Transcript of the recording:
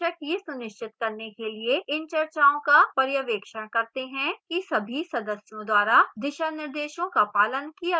शिक्षक यह सुनिश्चित करने के लिए इन चर्चाओं का पर्यवेक्षण करते हैं कि सभी सदस्यों द्वारा दिशानिर्देशों का पालन किया गया है